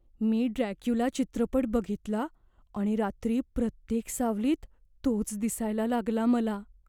मी Dracula चित्रपट बघितला आणि रात्री प्रत्येक सावलीत तोच दिसायला लागला मला.